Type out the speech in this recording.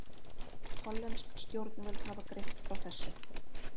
Hollensk stjórnvöld hafa greint frá þessu